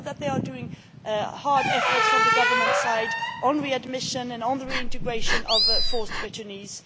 I know that they are making great efforts on the government side on readmission and on the reintegration of forced returnees.